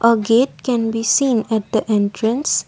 a gate can be seen at the entrance.